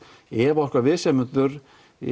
ef okkar viðsemjendur